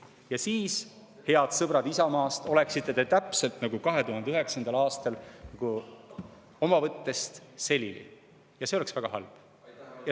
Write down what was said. Ja siis, head sõbrad Isamaast, oleksite te täpselt nagu 2009. aastal oma võttest selili ja see oleks väga halb.